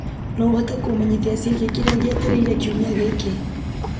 no ũhote kũmenyithia ciĩgiĩ kĩrĩa gĩetereire kiumia gĩkĩ